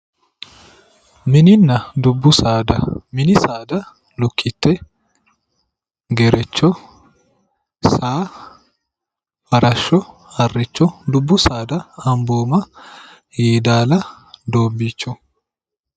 Mininna dubbu saada, mini saada lukkite, Gerecho, saa, farasho, Harcho, dubbu saada amboomma Yedala, Doobbicho